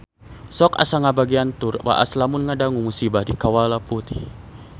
Sok asa ngagebeg tur waas lamun ngadangu musibah di Kawah Putih